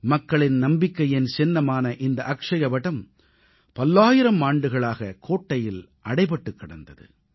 மக்களின் நம்பிக்கையின் சின்னமான இந்த அக்ஷயவடம் பல்லாயிரம் ஆண்டுகளாகக் கோட்டையில் அடைபட்டுக் கிடந்தது